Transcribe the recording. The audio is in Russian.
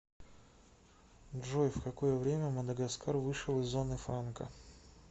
джой в какое время мадагаскар вышел из зоны франка